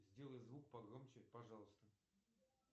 сделай звук погромче пожалуйста